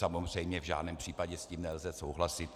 Samozřejmě v žádném případě s tím nelze souhlasit.